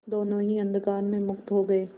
दोेनों ही अंधकार में मुक्त हो गए